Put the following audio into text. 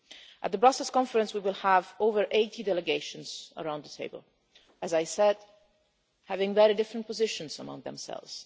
At the Brussels Conference we will have over 80 delegations around the table, as I said, with very different positions among themselves.